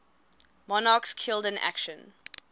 monarchs killed in action